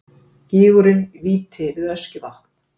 gígurinn víti við öskjuvatn